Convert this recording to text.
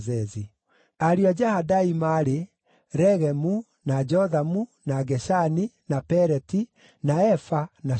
Ariũ a Jahadai maarĩ: Regemu, na Jothamu, na Geshani, na Peleti, na Efa, na Shaafu.